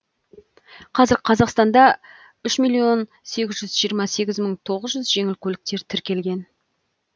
қазір қазақстанда үш миллион сегіз жүз жиырма сегіз мың тоғыз жүз жеңіл көлік тіркелген